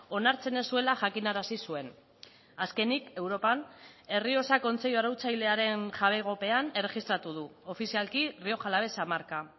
onartzen ez zuela jakinarazi zuen azkenik europan errioxa kontseilu arautzailearen jabegopean erregistratu du ofizialki rioja alavesa marka